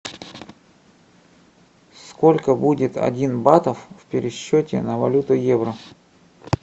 сколько будет один батов в пересчете на валюту евро